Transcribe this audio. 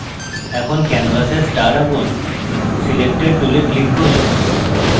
এখন canvas a star আঁকুন selector tool click করুন